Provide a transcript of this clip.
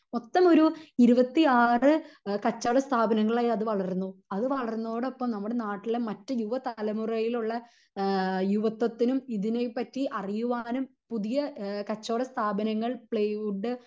മൊത്തം ഒരു ഇരുപത്തി ആറ് കച്ചവട സ്ഥാപങ്ങളായി അത് വളർന്നു അത് വളർന്നതോടൊപ്പം നമ്മുടെ നാട്ടിലെ മറ്റു യുവ തലമുറയിലുള്ള ഏഹ് യുവത്വത്തിനും ഇതിനെ പറ്റി അറിയുവാനും പുതിയ എഹ് കച്ചവട സ്ഥാപനങ്ങൾ പ്ലൈവുഡ്ഡ്